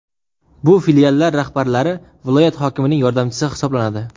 Bu filiallar rahbarlari viloyat hokimining yordamchisi hisoblanadi.